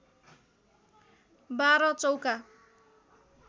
१२ चौका